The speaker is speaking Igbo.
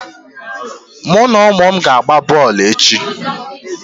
Mụ na ụmụ m ga-agba bọọlụ echi.